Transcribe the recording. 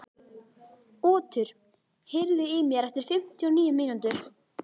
Otur, heyrðu í mér eftir fimmtíu og níu mínútur.